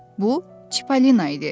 Bu Çipalina idi.